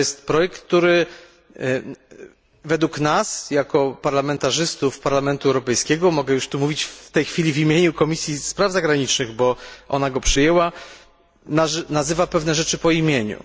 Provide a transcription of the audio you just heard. To jest projekt, który według nas jako parlamentarzystów Parlamentu Europejskiego mogę już tu mówić w tej chwili w imieniu Komisji Spraw Zagranicznych, bo ona go przyjęła nazywa pewne rzeczy po imieniu.